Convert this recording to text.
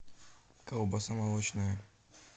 колбаса молочная